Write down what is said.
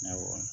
Awɔ